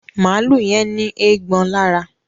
Maalu yén ní Eégbọn lára